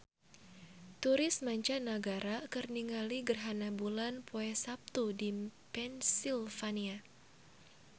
Turis mancanagara keur ningali gerhana bulan poe Saptu di Pennsylvania